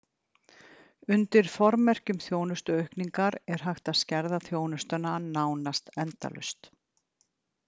Undir formerkjum þjónustuaukningar er hægt að skerða þjónustuna nánast endalaust.